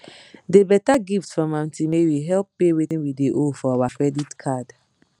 de better gift from aunty mary help pay wetin we dey owe for our credit card